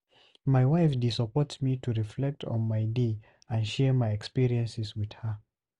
My wife dey support me to reflect on my day and share my experiences with her.